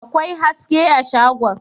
akwai haske a shagon